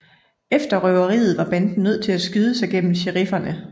Efter røveriet var banden nødt til at skyde sig gennem sherifferne